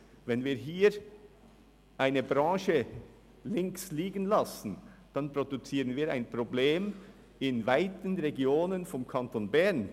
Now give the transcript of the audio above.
Wenn wir eine Branche links liegen lassen, dann produzieren wir ein Problem in weiten Regionen des Kantons Bern.